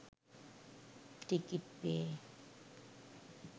ticket পেয়ে